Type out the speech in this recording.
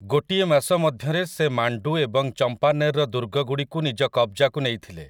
ଗୋଟିଏ ମାସ ମଧ୍ୟରେ ସେ ମାଣ୍ଡୁ ଏବଂ ଚମ୍ପାନେର୍‌ର ଦୁର୍ଗଗୁଡ଼ିକୁ ନିଜ କବ୍‌ଜାକୁ ନେଇଥିଲେ ।